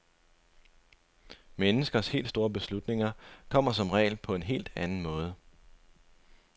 Menneskers helt store beslutninger kommer som regel på en helt anden måde.